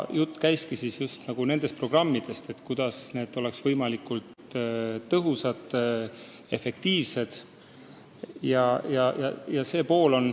Jutt ongi just nendest programmidest, kuidas need oleks võimalikult efektiivsed.